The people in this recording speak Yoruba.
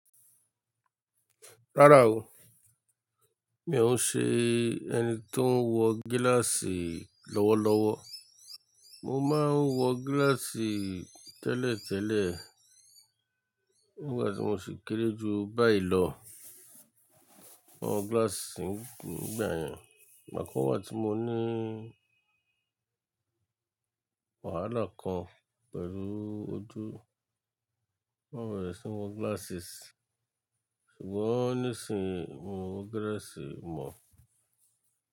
Rárá o, mi ò ṣe ẹni tó ń wọ gíláàsì lọ́wọ́lọ́wọ́. Mo máa ń wọ gíláàsì tẹ́lẹ̀tẹ́lẹ̀ nígbà tí mo ṣe kéré jù báyìí lọ, mo wọ gíláàsì nígbà yẹn. Bàkán wà tí mo ní wàhálà kan pẹ̀lú ojú, mo bẹẹre sí wọ glasses, ṣùgbọ́n nísinsìnyí mi o wọ gíláàsì mọ̀.